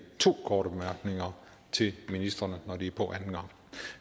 to korte bemærkninger til ministrene når de er på anden gang